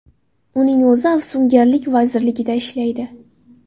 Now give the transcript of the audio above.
Uning o‘zi afsungarlik vazirligida ishlaydi.